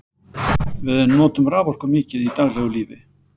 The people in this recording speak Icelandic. Við notum raforku mikið í daglegu lífi.